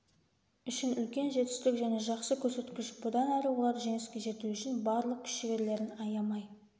үшін үлкен жетістік және жақсы көрсеткіш бұдан әрі олар жеңіске жету үшін барлық күш-жігерлерін аямай